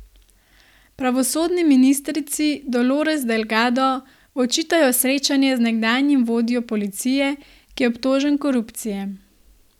Pravosodni ministrici Dolores Delgado očitajo srečanje z nekdanjim vodjo policije, ki je obtožen korupcije.